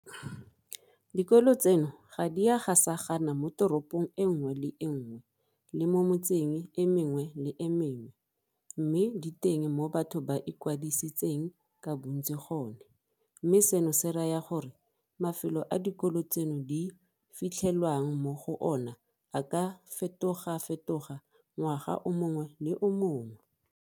Dikolo tseno ga di a gasagana moteropong e nngwe le e nngwe le mo metseng e mengwe le e mengwe, mme di teng mo batho ba ikwadisitseng ka bontsi gone, mme seno se raya gore mafelo a dikolo tseno di fitlhelwang mo go ona a ka fetogafetoga ngwaga o mongwe le o mongwe.